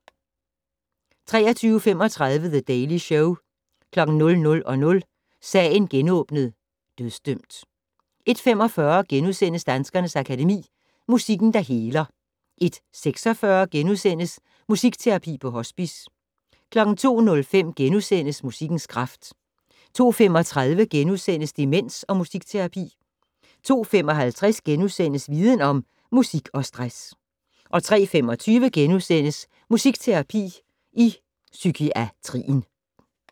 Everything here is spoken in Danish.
23:35: The Daily Show 00:00: Sagen genåbnet: Dødsdømt 01:45: Danskernes Akademi: Musikken, der heler * 01:46: Musikterapi på hospice * 02:05: Musikkens kraft * 02:35: Demens og musikterapi * 02:55: Viden Om: Musik og stress * 03:25: Musikterapi i psykiatrienv *